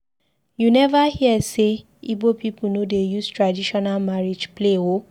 You neva hear sey Ibo pipu no dey use traditional marriage play o.